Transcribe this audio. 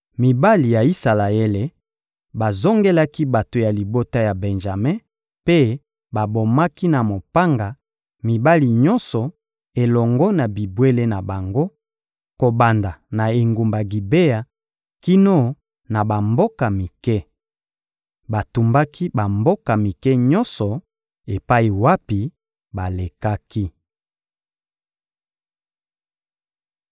Mibali ya Isalaele bazongelaki bato ya libota ya Benjame mpe babomaki na mopanga mibali nyonso elongo na bibwele na bango, kobanda na engumba Gibea kino na bamboka mike. Batumbaki bamboka mike nyonso epai wapi balekaki.